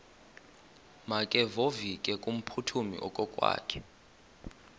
makevovike kumphuthumi okokwakhe